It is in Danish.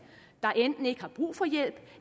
der enten ikke har brug for hjælp